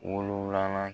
Wolonwulanan